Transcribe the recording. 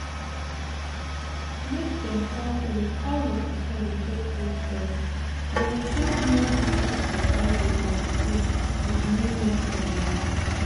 make dem help you with how your pikin go take hold breast go help make you fit continue dey breastfeed with new method like